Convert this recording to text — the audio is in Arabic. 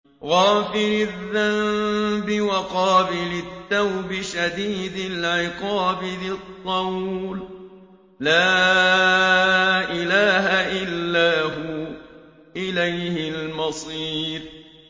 غَافِرِ الذَّنبِ وَقَابِلِ التَّوْبِ شَدِيدِ الْعِقَابِ ذِي الطَّوْلِ ۖ لَا إِلَٰهَ إِلَّا هُوَ ۖ إِلَيْهِ الْمَصِيرُ